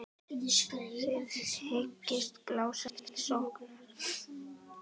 Þið hyggist blása til sóknar?